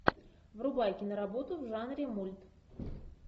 врубай киноработу в жанре мульт